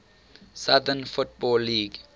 southern football league